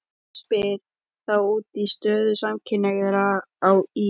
Klerkurinn spyr þá út í stöðu samkynhneigðra á Ís